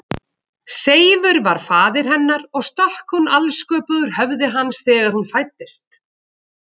Seifur var faðir hennar og stökk hún alsköpuð úr höfði hans þegar hún fæddist.